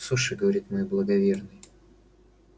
слушай говорит мой благоверный